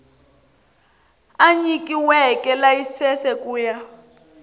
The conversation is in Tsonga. a nyikiweke layisense ku ya